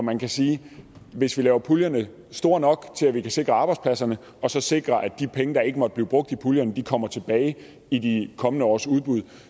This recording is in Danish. man kan sige at hvis vi laver puljerne store nok til at vi kan sikre arbejdspladser og sikre at de penge der ikke måtte blive brugt i puljerne kommer tilbage i de kommende års udbud